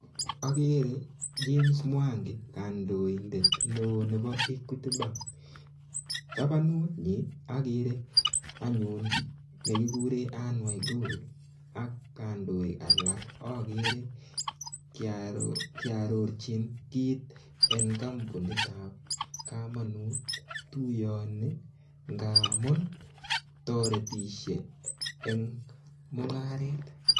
Ogere James Mwangi kandoindet neo nebo Equity bank tabanunyin ogere anyun nekikuren Ann Waiguru ak kandoik alak ogere kiororochin kit en kampunitab komonut tuiyoni ngamun toretisie en mung'aret.